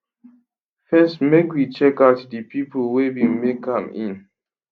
first make we checkout di pipo wey bin make am in